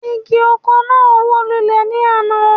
Igi oko náà wó lulẹ̀ ní àná